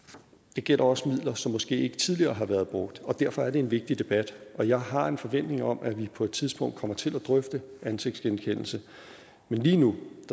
det gælder også midler som måske ikke tidligere har været brugt derfor er det en vigtig debat og jeg har en forventning om at vi på et tidspunkt kommer til at drøfte ansigtsgenkendelse men lige nu